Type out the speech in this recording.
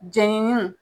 Jɛnini